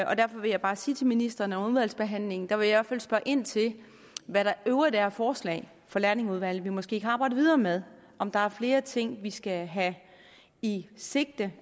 og derfor vil jeg bare sige til ministeren at under udvalgsbehandlingen vil hvert fald spørge ind til hvad der i øvrigt er af forslag fra lærlingeudvalget vi måske kan arbejde videre med om der er flere ting vi skal have i sigte